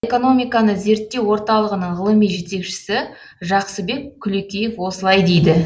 экономиканы зерттеу орталығының ғылыми жетекшісі жақсыбек күлекеев осылай дейді